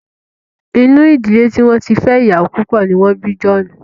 Inú ìdílé tí wọ́n ti fẹ́ iyawo púpọ̀ ni wọ́n bí John.